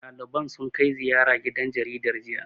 Ɗaliban sun kai ziyara gidan jaridar, jiya.